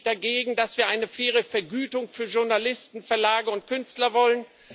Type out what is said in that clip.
Was spricht dagegen, dass wir eine faire Vergütung für Journalisten, Verlage und Künstler wollen?